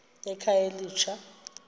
ekhayelitsha